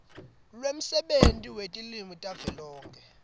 lwemsebenti wetilwimi tavelonkhe